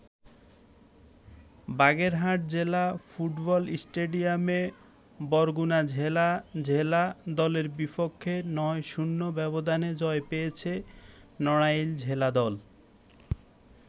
বাগেরহাট জেলা ফুটবল স্টেডিয়ামে বরগুনা জেলা জেলা দলের বিপেক্ষ ৯-০ ব্যবধানে জয় পেয়েছে নড়াইল জেলা দল।